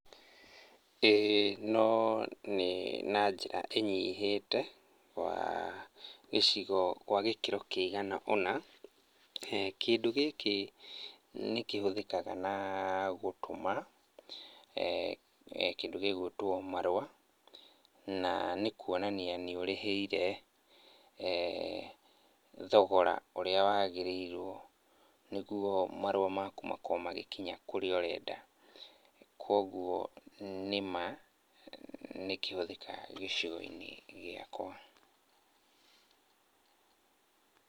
Ĩĩ no nĩ na njĩra ĩnyihĩte, gĩcigo gwa gĩkĩro kĩigana ũna, kĩndũ gĩkĩ, nĩkĩhũthĩkaga na, gũtũma, kĩndũ gĩgũĩtwo marũa. Na nĩkuonania nĩũrĩhĩire, thogora ũrĩa wagĩrĩirwo, nĩguo marũa maku makorwo magĩkinya kũrĩa ũrenda. Kuoguo nĩma, nĩkĩhũthĩkaga gĩcigo-inĩ gĩakwa